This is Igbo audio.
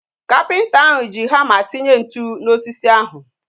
Kapịnta ahu ji hama tinye ntụ na osisi ahu